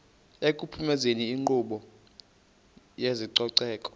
ekuphumezeni inkqubo yezococeko